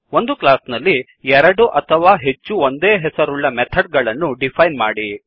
ಒಂದು ಕ್ಲಾಸ್ ನಲ್ಲಿ ಎರಡು ಅಥವಾ ಹೆಚ್ಚು ಒಂದೇ ಹೆಸರುಳ್ಳ ಮೆಥಡ್ ಗಳನ್ನು ಡಿಫೈನ್ ಮಾಡಿ